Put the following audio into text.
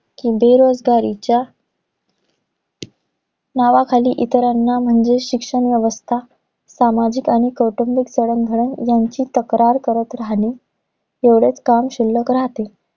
कि बेरोजगारीच्या नावाखाली इतरांना म्हणजे, शिक्षण व्यवस्था, सामाजिक आणि कौटुंबिक जडणघडण यांची तक्रार करत राहणे. एवढेच काम शिल्लक राहते.